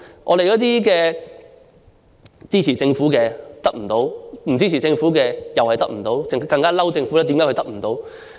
我們這些支持政府的人得不到幫助，不支持政府的人也得不到，更埋怨政府為何得不到。